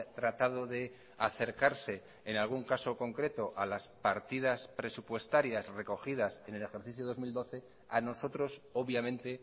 tratado de acercarse en algún caso concreto a las partidas presupuestarias recogidas en el ejercicio dos mil doce a nosotros obviamente